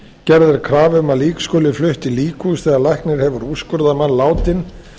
gerð er krafa um að lík skuli flutt í líkhús þegar læknir hefur úrskurðað mann látinn